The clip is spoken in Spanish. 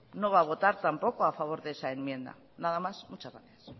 no va a votar tampoco a favor de esa enmienda nada más y muchas gracias